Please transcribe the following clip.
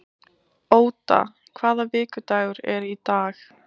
Óda, hvaða vikudagur er í dag?